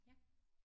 Ja